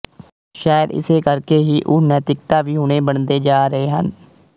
ਸ਼ਾਇਦ ਇਸੇ ਕਰਕੇ ਹੀ ਉਹ ਨੈਤਿਕਤਾ ਵਿਹੂਣੇ ਬਣਦੇ ਜਾ ਰਹੇ ਹਨ